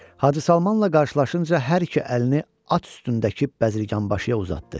Hacı Salmanla karşılaşınca hər iki əlini at üstündəki bəzirganbaşıya uzatdı.